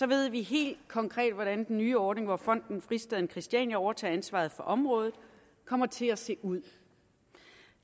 ved vi helt konkret hvordan den nye ordning hvor fonden fristaden christiania overtager ansvaret for området kommer til at se ud